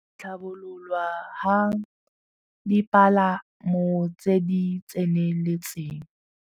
Tlhabololwa ga dipalamo tse di tseneletseng.